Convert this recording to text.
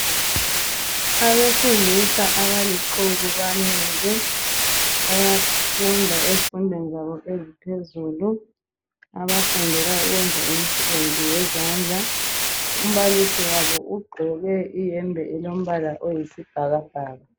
Abesilisa abalixuku bemile befunda ezifundweni eziphezulu. Abafundela ukwenza imisebenzi yezandla, umbalisi wabo ugqoke iyembe eyisibhakabhaka.